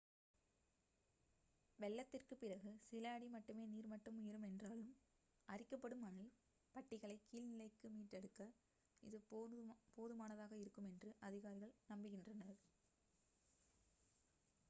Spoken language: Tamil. வெள்ளத்திற்குப் பிறகு சில அடி மட்டுமே நீர் மட்டம் உயரும் என்றாலும் அரிக்கப்படும் மணல் பட்டிகளைக் கீழ்நிலைக்கு மீட்டெடுக்க இது போதுமானதாக இருக்கும் என்று அதிகாரிகள் நம்புகின்றனர்